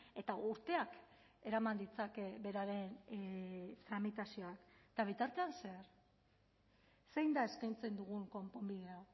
eta urteak eraman ditzake beraren tramitazioa eta bitartean zer zein da eskaintzen dugun konponbidea